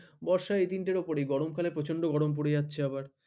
বর্ষা এই তিনটের উপরেই গরমকালে প্রচন্ড গরম পড়ে যাচ্ছে আবার